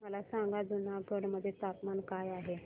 मला सांगा जुनागढ मध्ये तापमान काय आहे